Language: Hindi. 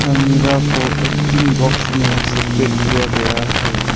अलमीरा को एटीन बॉक्स में सेपरेट किया गया है।